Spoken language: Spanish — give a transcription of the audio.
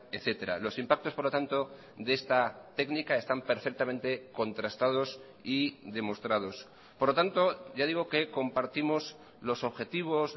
etcétera los impactos por lo tanto de esta técnica están perfectamente contrastados y demostrados por lo tanto ya digo que compartimos los objetivos